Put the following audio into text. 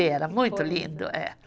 E era muito lindo, é